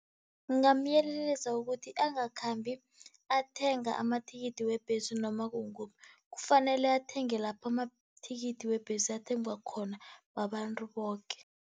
Ngingamyelelisa ukuthi, angakhambi athenga amathikithi webhesi noma kukukuphi, kufanele athenge lapho amathikithi webhesi athengwa khona babantu boke.